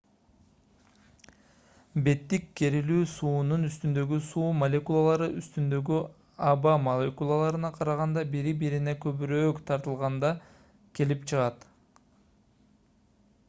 беттик керилүү суунун үстүндөгү суу молекулалары үстүндөгү аба молекулаларына караганда бири-бирине көбүрөөк тартылганда келип чыгат